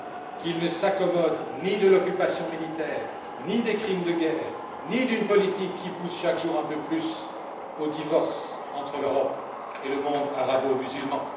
qu'ils ne s'accommodent ni de l'occupation militaire, ni des crimes de guerre, ni d'une politique qui pousse chaque jour un peu plus au divorce entre l'Europe et le monde arabo musulman?